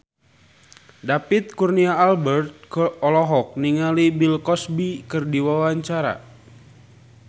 David Kurnia Albert olohok ningali Bill Cosby keur diwawancara